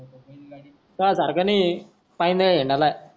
तुझ्या सारखा नाय काय नाही मला